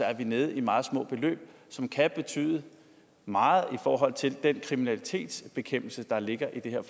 er vi nede i meget små beløb som kan betyde meget i forhold til den kriminalitetsbekæmpelse der ligger i det her